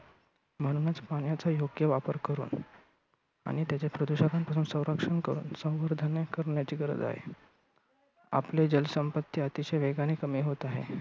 म्हणूनच पाण्याचा योग्य वापर करुन, आणि त्याचे प्रदूषणापासून संरक्षण करुन संवर्धनही करण्याची गरज आहे. आपली जल संपत्ती अतिशय वेगाने कमी होत आहे.